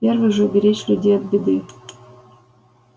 первый же беречь людей от беды